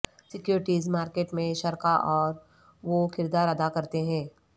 securities market میں شرکاء اور وہ کردار ادا کرتے ہیں